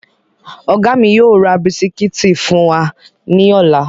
Ọ̀gá mi yóò ra bisikíìtì fún wa ní ọ̀la